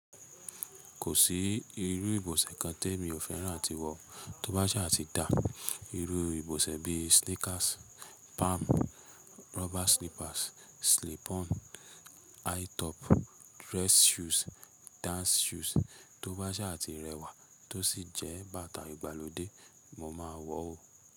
Kò sí irú ìbọ̀sẹ̀ kan tẹmi ò fẹ́ràn àti wọ̀. Tóbájáà ti dá irú ìbọ̀sẹ̀ bí sneakers, palm, rubber slippers, slip ons, high top, dress shoes, dance shoes, tóbá sáà ti rẹwà tó sì jẹ́ bàtà ìgbàlódé, mo máa wọ̀ ọ́.